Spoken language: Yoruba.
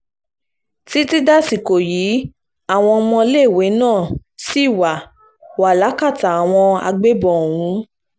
títí dàsìkò yìí àwọn ọmọléèwé náà ṣì wà wà lákàtà àwọn agbébọn ọ̀hún